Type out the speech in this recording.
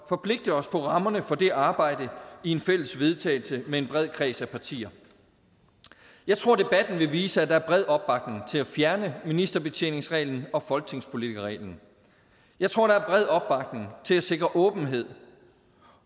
forpligte os på rammerne for det arbejde i et fælles vedtagelse med en bred kreds af partier jeg tror debatten vil vise at der er bred opbakning til at fjerne ministerbetjeningsreglen og folketingspolitikerreglen jeg tror der er bred opbakning til at sikre åbenhed